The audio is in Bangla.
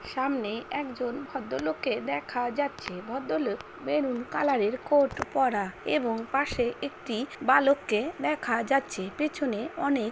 সামনে একজন ভদ্রলোককে দেখা যাচ্ছে। ভদ্রলোক মেরুন কালারের কোট পরা এবং পাশে একটি বালককে দেখা যাচ্ছে পেছনে অনেক--